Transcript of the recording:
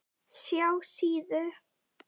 SJÁ SÍÐU.